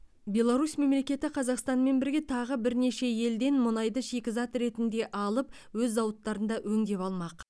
беларусь мемлекеті қазақстанмен бірге тағы бірнеше елден мұнайды шикізат ретінде алып өз зауыттарында өңдеп алмақ